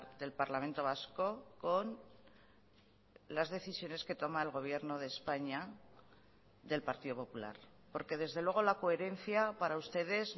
del parlamento vasco con las decisiones que toma el gobierno de españa del partido popular porque desde luego la coherencia para ustedes